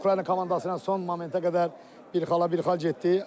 Ukrayna komandası ilə son momentə qədər bir xala bir xal getdi.